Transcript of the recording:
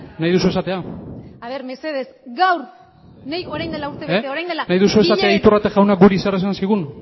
nahi duzu esatea nahi duzu esatea iturrate jaunak guri zer esan zigun